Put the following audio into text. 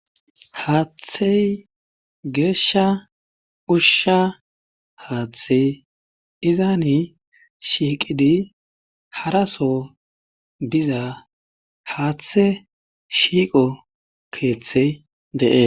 haaththey geeshsha ushsha haaththey izaani shiiqidi haraso biza haaththe shiiqo keeththey de7es